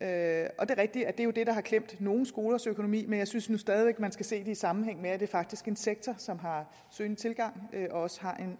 er rigtigt at det jo er det der har klemt nogle skolers økonomi men jeg synes nu stadig væk man skal se det i sammenhæng med at det faktisk er en sektor som har stigende tilgang og også